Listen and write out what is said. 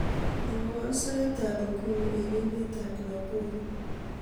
mwowon sait ab inguni en emeet ab nakuru